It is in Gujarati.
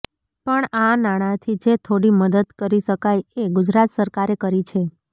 પણ આ નાણાથી જે થોડી મદદ કરી શકાય એ ગુજરાત સરકારે કરી છે